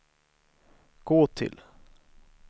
gå till